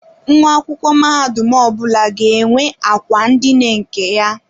Nwa akwụkwọ mahadum ọbụla ga-enwe akwa ndina nke ya.